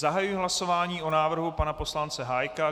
Zahajuji hlasování o návrhu pana poslance Hájka.